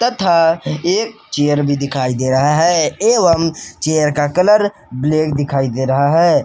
तथा एक चेयर भी दिखाई दे रहा है एवं चेयर का कलर ब्लैक दिखाई दे रहा है।